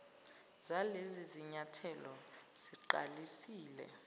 zalezi zinyathelo siqalisile